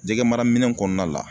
Jɛgɛmaraminɛn kɔnɔna la